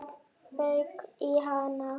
Það fauk í hana.